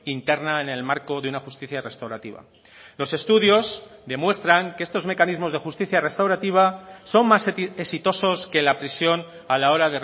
interna en el marco de una justicia restaurativa los estudios demuestran que estos mecanismos de justicia restaurativa son más exitosos que la prisión a la hora